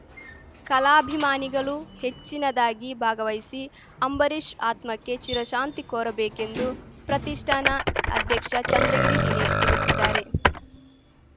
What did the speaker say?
ಕಲಾಭಿಮಾನಿಗಳು ಹೆಚ್ಚಿನದಾಗಿ ಭಾಗವಹಿಸಿ ಅಂಬರೀಶ್‌ ಆತ್ಮಕ್ಕೆ ಚಿರಶಾಂತಿ ಕೋರಬೇಕೆಂದು ಪ್ರತಿಷ್ಠಾನ ಅಧ್ಯಕ್ಷ ಚಂದ್ರಗಿರಿ ದಿನೇಶ್‌ ತಿಳಿಸಿದ್ದಾರೆ